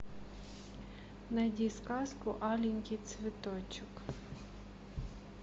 найди сказку аленький цветочек